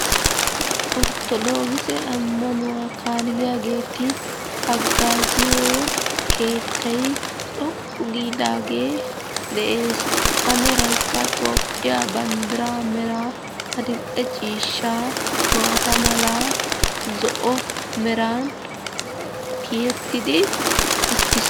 Orthodookise ammanuwaa kaalliyaageeti haggaaziyoo keettay xoqqu giidaagee de'ess, a meraykka toophiyaa banddiraa meraa adil'e ciishshaa malaa maata malaa zo'o meran tiyettidi uttis.